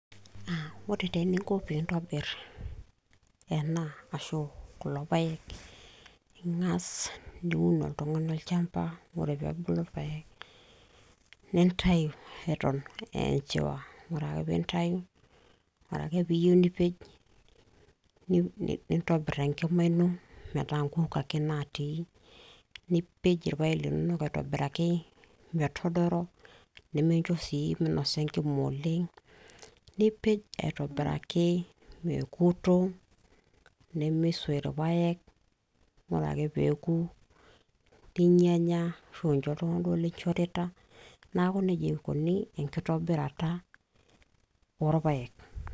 Ore taa eninko pee intobir ena ashukulo paek ningas niun oltungani olchamba, ore pee ebulu irpaek nintayu eton ee enchiwa nintayu ore ake pee iyieu nipej nintobir enkima ino metaa nkuk ake naati ,nipej irpaek linonok aitobiraki metodoro ,nimincho sii meinosa enkima oleng, nipej aitobiraki mekuto ,nimisoy irpaek ore ake pee eku , ninyanya ashu incho duoo iltunganak linchorita ,neaku nejia eikoni enkitobirata oorpaek.